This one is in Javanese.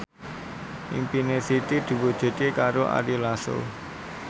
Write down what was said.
impine Siti diwujudke karo Ari Lasso